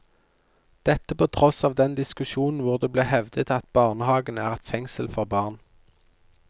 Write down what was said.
Dette på tross av den diskusjonen hvor det ble hevdet at barnehagen er et fengsel for barn.